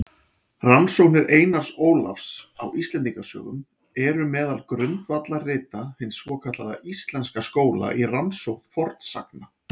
Rannsóknir Einars Ólafs á Íslendingasögum eru meðal grundvallarrita hins svokallaða íslenska skóla í rannsókn fornsagna.